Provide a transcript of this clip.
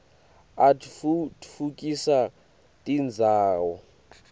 atfutfukisa tindzawo